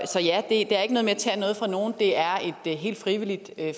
det er ikke noget med at tage noget fra nogen det er et helt frivilligt